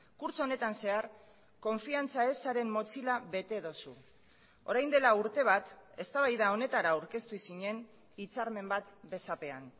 kurtso honetan zehar konfiantza ezaren motxila bete duzu orain dela urte bat eztabaida honetara aurkeztu zinen hitzarmen bat besapean